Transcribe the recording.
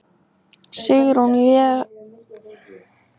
Sigrún Vésteinsdóttir: Ert þú vongóð um að hann náist?